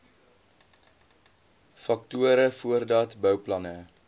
faktore voordat bouplanne